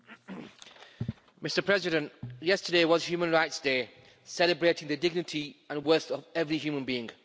Mr President, yesterday was Human Rights Day, celebrating the dignity and value of every human being.